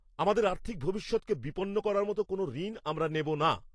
আমাদের আর্থিক ভবিষ্যৎকে বিপন্ন করার মতো কোনও ঋণ আমরা নেব না!